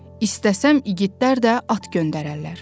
İstəsəm igidlər də at göndərərlər.